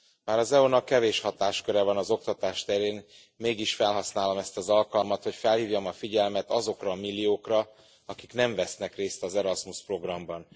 Bár az EU nak kevés hatásköre van az oktatás terén, mégis felhasználom ezt az alkalmat, hogy felhívjam a figyelmet azokra a milliókra, akik nem vesznek részt az Erasmus programban.